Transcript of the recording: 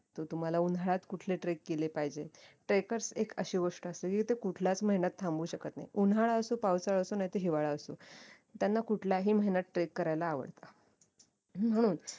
तर तुम्हाला उन्हाळ्यात कुठले trek केले पाहिजेत trackers एक अशी गोष्ट असते की ते कुठल्याच महिन्यात थांबू शकत नाही उन्हाळा असो पावसाळा असो नाहीतर हिवाळा असो त्यांना कुठल्याही महिन्यात trek करायला आवडत हम्म